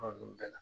bɛɛ la